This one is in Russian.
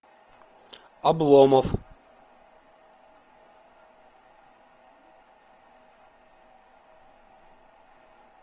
обломов